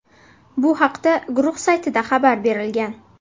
Bu haqda guruh saytida xabar berilgan .